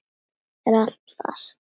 Er allt fast?